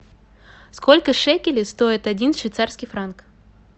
сколько шекелей стоит один швейцарский франк